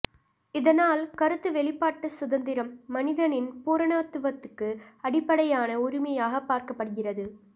இதனால் கருத்து வெளிப்பாட்டுச் சுதந்திரம் மனிதனின் பூரணத்துவத்துக்கு அடிப்படையான உரிமையாக பார்க்கப்படுகிறது